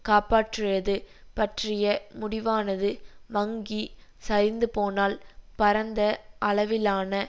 காப்பாற்றியது பற்றிய முடிவானது வங்கி சரிந்துபோனால் பரந்த அளவிலான